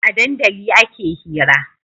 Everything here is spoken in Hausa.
A dandali ake hira